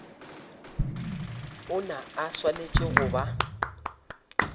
ona a swanetše go ba